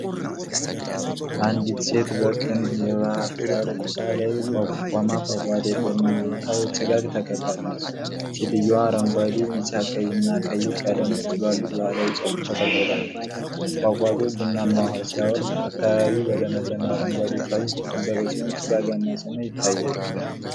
አንዲት ሴት በቅን የባህር ዳርቻ ላይ ቆማ ፏፏቴ በሚወጣ ጭጋግ ተከባለች። ሴትየዋ አረንጓዴ፣ ቢጫ እና ቀይ ቀለሞች ባሉት ባሕላዊ ጨርቅ ተጠቅልላለች። ፏፏቴው ቡናማ ውሃ ሲያወርድ፣ አካባቢው በለመለመ አረንጓዴ ዕፅዋት የተከበበ ሲሆን፣ ጭጋጋማ ሰማይ ይታያል።